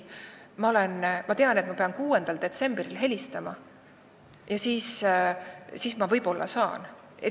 Ta ütles: "Ei, ma tean, et ma pean 6. detsembril uuesti helistama ja siis võib-olla saan.